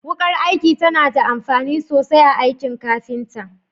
Wukar aiki tana da amfani sosai a aikin kafinta.